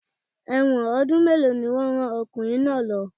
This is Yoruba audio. Ẹ̀wọ̀n ọdún mélòó ni wọ́n rán ọkùnrin náà lo?